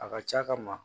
A ka ca ka ma